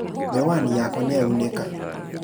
Mĩwani yakwa nĩyaunĩka